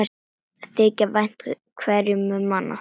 Þykja vænt hverju um annað.